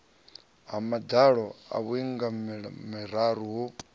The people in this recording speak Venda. ha madalo a vhuingameli ho